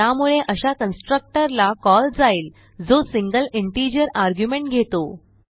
त्यामुळे अशा कन्स्ट्रक्टर ला कॉल जाईल जो सिंगल इंटिजर आर्ग्युमेंट घेतो